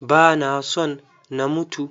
Ba na son na mutu.